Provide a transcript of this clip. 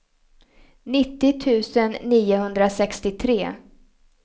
nittio tusen niohundrasextiotre